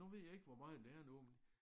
Nu ved jeg ikke hvor meget det er nu